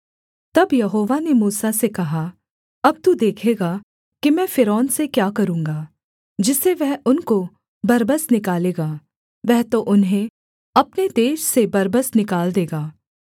तब यहोवा ने मूसा से कहा अब तू देखेगा कि मैं फ़िरौन से क्या करूँगा जिससे वह उनको बरबस निकालेगा वह तो उन्हें अपने देश से बरबस निकाल देगा